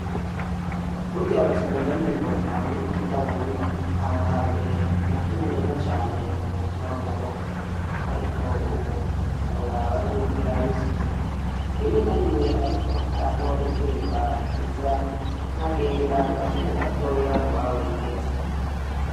Burya baca umugani ngo nayiruka itabondwa aho hambere nakina neza cane umupira wamaboko ariko ubu ndawuraba nkimbwa iraba isuka rimwe narimwe ariko hariho impimba iza nkagenda nkakina gato mubawigeze